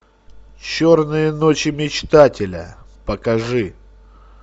черные ночи мечтателя покажи